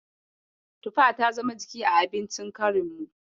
Tufa ta zama jiki a abincin karinmu.